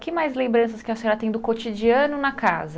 Que mais lembranças que a senhora tem do cotidiano na casa?